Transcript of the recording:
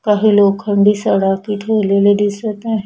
काही लोखंडी सळाकी ठेवलेले दिसत आहे.